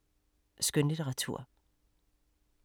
Skønlitteratur